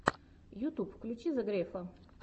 ютуб включи зе грефга